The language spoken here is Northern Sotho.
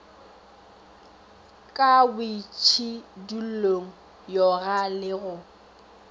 ka boitšhidullong yoga le go